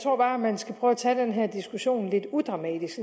tror bare man skal prøve at tage den her diskussion lidt udramatisk